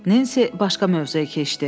Nensi başqa mövzuya keçdi.